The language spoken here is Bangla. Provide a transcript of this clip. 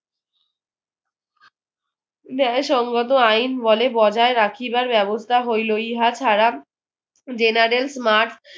ন্যায় সংক্রান্ত আইন বলে বজায় রাখিবার ব্যবস্থা হইলো ইহা ছাড়া general smart